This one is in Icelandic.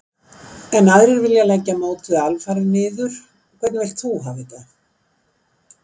Enn aðrir vilja leggja mótið alfarið niður. Hvernig vilt þú hafa þetta?